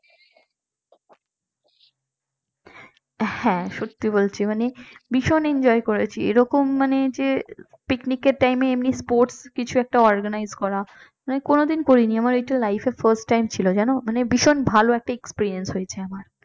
হ্যাঁ সত্যি বলছি মানে ভীষণ enjoy করেছি এরকম মানে যে পিকনিকের time এমনি sports কিছু একটা organise করা আমি কোনদিন করিনি আমার এইটা life র first time ছিল জান মানে ভীষণ ভালো একটা experience হয়েছে আমার